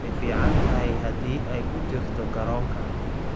Way fiicantahay haddii ay ku jirto garoonka.